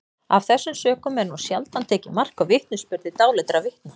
af þessum sökum er nú sjaldan tekið mark á vitnisburði dáleiddra vitna